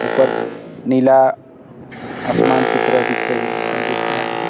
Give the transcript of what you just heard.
ऊपर नीला आसमान की तरह दिख रही है दिख रहा है।